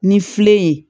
Ni filɛ ye